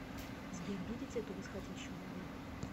сбер видите эту восходящую модель